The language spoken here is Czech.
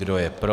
Kdo je pro?